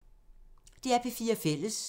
DR P4 Fælles